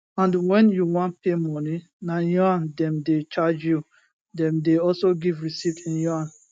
and wen you wan pay money na yaun dem dey charge you dem dey also give receipt in yuan